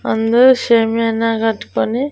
అందరూ సేమ్యాన గట్టుకొని--